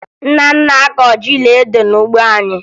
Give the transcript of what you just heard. Nna m na-akọ ji na ede n'ugbo anyị